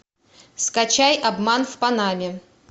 скачай обман в панаме